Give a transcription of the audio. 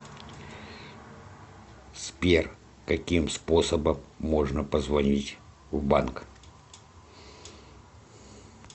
сбер каким способом можно позвонить в банк